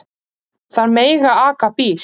Þær mega aka bíl.